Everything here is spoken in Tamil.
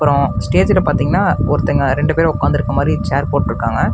அப்ரோ ஸ்டேஜ்ல பார்த்தீங்கன்னா ஒருத்தங்க ரெண்டு பேர் உக்கார்ந்துருக்கற மாரி சேர் போட்டுருக்காங்க.